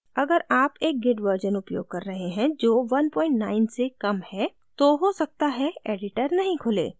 अगर आप एक git version उपयोग कर रहे हैं जो 19 से कम है तो हो सकता है editor नहीं खुले